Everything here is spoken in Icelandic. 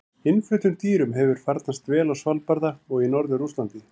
Innfluttum dýrum hefur einnig farnast vel á Svalbarða og í norður Rússlandi.